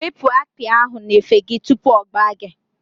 Wepụ akpi ahụ n'efe gị tupu ọ gbaa gị!